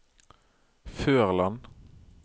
Førland